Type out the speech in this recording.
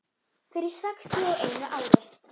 Fyrir sextíu og einu ári.